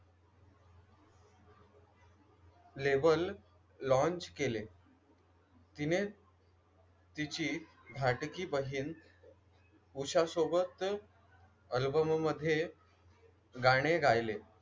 Label launch केले. तिने तिची धाकटी बहीण उषासोबत अल्बम मध्ये गाणे गायले.